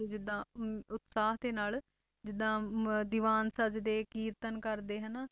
ਜਿੱਦਾਂ ਅਹ ਉਤਸਾਹ ਦੇ ਨਾਲ ਜਿੱਦਾਂ ਅਹ ਦੀਵਾਨ ਸੱਜਦੇ ਕੀਰਤਨ ਕਰਦੇ ਹਨਾ,